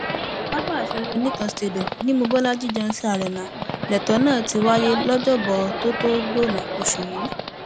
pápá ìṣeré oníkan stadium ni mobólájí johnson arena lẹtọ náà ti wáyé lọjọbọtòtògbònón osù yìí